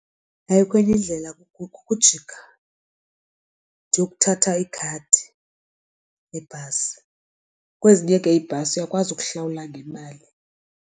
Ayikho enye indlela kukujika ndiyokuthatha ikhadi lebhasi, kwezinye ke iibhasi uyakwazi ukuhlawula ngemali.